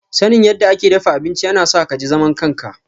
Sanin yadda ake dafa abinci yana sa ka ji zaman kanka.